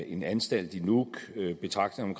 en anstalt i nuuk og betragtningerne